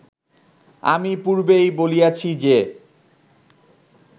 আমি পূর্বেই বলিয়াছি যে